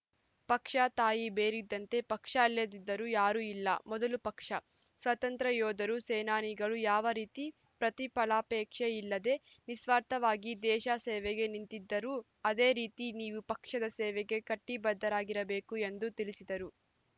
ಪಕ್ಷ ತಾಯಿ ಬೇರಿದ್ದಂತೆ ಪಕ್ಷ ಇಲ್ಲದಿದ್ದರೆ ಯಾರೂ ಇಲ್ಲ ಮೊದಲು ಪಕ್ಷ ಸ್ವಾತಂತ್ರ ಯೋಧರು ಸೇನಾನಿಗಳು ಯಾವ ರೀತಿ ಪ್ರತಿಫಲಾಪೇಕ್ಷೆ ಇಲ್ಲದೆ ನಿಸ್ವಾರ್ಥವಾಗಿ ದೇಶ ಸೇವೆಗೆ ನಿಂತಿದ್ದಾರೋ ಅದೆ ರೀತಿ ನೀವು ಪಕ್ಷದ ಸೇವೆಗೆ ಕಟಿಬದ್ಧರಾಗಿರಬೇಕು ಎಂದು ತಿಳಿಸಿದರು